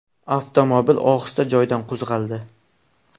Avtomobil ohista joyidan qo‘zg‘aldi.